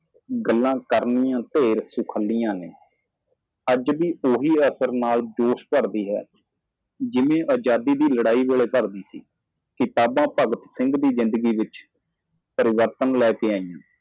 ਗੱਲ ਕਰਨ ਵਿੱਚ ਖੁਸ਼ੀ ਅੱਜ ਵੀ ਉਤਸ਼ਾਹ ਨਾਲ ਉਸੇ ਪ੍ਰਭਾਵ ਨਾਲ ਭਰਤੀ ਕੀਤਾ ਜਾਂਦਾ ਹੈ। ਆਜ਼ਾਦੀ ਸੰਗਰਾਮ ਦੌਰਾਨ ਜਿੰਨੀ ਭਰਤੀ ਹੋਈ ਸੀ ਭਗਤ ਸਿੰਘ ਦੇ ਜੀਵਨ ਦੀਆਂ ਕਿਤਾਬਾਂ ਤਬਦੀਲੀ ਲਿਆਇਆ